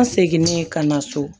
An seginn'e ka na so